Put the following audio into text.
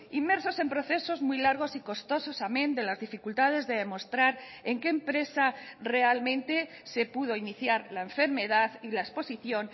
inmersos en procesos muy largos y costosos amen de las dificultades de demostrar en qué empresa realmente se pudo iniciar la enfermedad y la exposición